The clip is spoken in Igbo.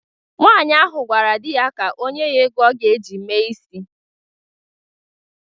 Nwaanyị ahụ gwara di ya ka onye ya ego ọ ga-eji mee isi